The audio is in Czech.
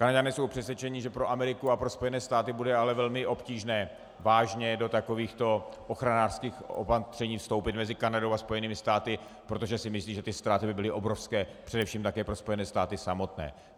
Kanaďané jsou přesvědčeni, že pro Ameriku a pro Spojené státy bude ale velmi obtížné vážně do takovýchto ochranářských opatření vstoupit mezi Kanadou a Spojenými státy, protože si myslí, že ty ztráty by byly obrovské, především také pro Spojené státy samotné.